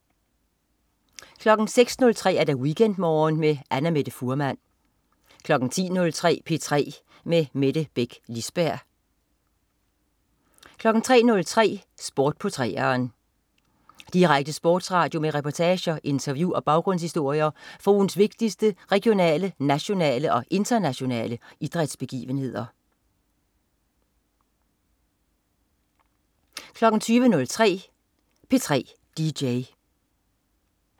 06.03 WeekendMorgen med Annamette Fuhrmann 10.03 P3 med Mette Beck Lisberg 13.03 Sport på 3'eren. Direkte sportsradio med reportager, interview og baggrundshistorier fra ugens vigtigste regionale, nationale og internationale idrætsbegivenheder 20.03 P3 DJ